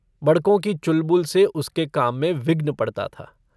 बड़कों की चुलबुल से उसके काम में विघ्न पड़ता था।